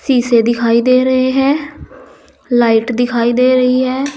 शीशे दिखाई दे रहे हैं। लाइट दिखाई दे रही है।